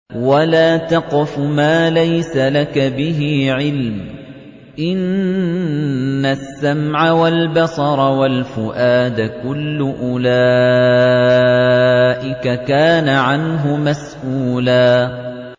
وَلَا تَقْفُ مَا لَيْسَ لَكَ بِهِ عِلْمٌ ۚ إِنَّ السَّمْعَ وَالْبَصَرَ وَالْفُؤَادَ كُلُّ أُولَٰئِكَ كَانَ عَنْهُ مَسْئُولًا